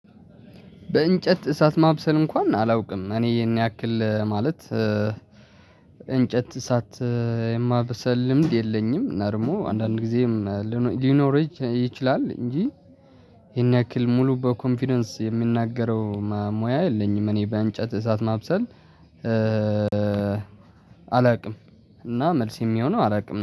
በእንጨት እሳት ማብሰል እንኳን አላውቅም እኔ ይሄን ያክል ማለት እንጨት እሳት የማብሰል ልምድ የለኝም። እና ደግሞ አንዳንድ ጊዜም ሊኖር ይችላል እንጂ። ይሄን ያክል ሙሉ በኮንፊደንስ የምናገረው ሙያ የለኝም። እኔ በእንጨት እሳት ማብሰል አላውቅም። እና መልስ የሚሆነው አላውቅም